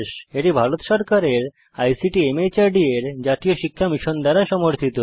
এটি ভারত সরকারের আইসিটি মাহর্দ এর জাতীয় সাক্ষরতা মিশন দ্বারা সমর্থিত